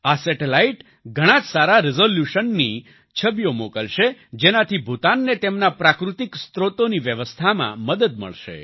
આ સેટેલાઈટ ઘણાં જ સારા રિઝોલ્યૂશનની છબીઓ મોકલશે જેનાથી ભૂતાનને તેમના પ્રાકૃતિક સ્ત્રોતોની વ્યવસ્થામાં મદદ મળશે